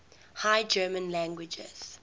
high german languages